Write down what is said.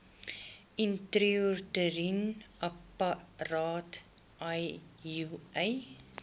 intrauteriene apparaat iua